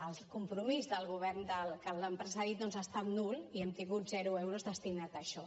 el compromís del govern que els han precedit doncs ha estat nul i hem tingut zero euros destinats a això